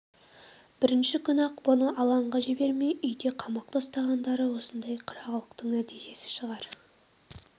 бірінші күні-ақ бұны алаңға жібермей үйде қамақта ұстағандары осындай қырағылықтың нәтижесі шығар